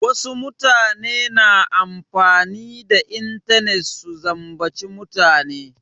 Wasu mutane na amfani da intanet su zambaci mutane.